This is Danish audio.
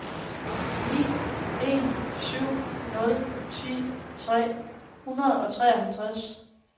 ni en syv nul ti tre hundrede og treoghalvtreds